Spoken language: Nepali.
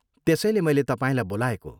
त्यसैले मैले तपाईँलाई बोलाएको।